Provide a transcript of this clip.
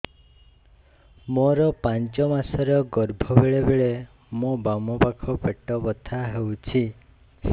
ମୋର ପାଞ୍ଚ ମାସ ର ଗର୍ଭ ବେଳେ ବେଳେ ମୋ ବାମ ପାଖ ପେଟ ବଥା ହଉଛି